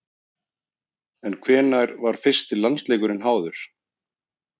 En hvenær var fyrsti landsleikurinn háður?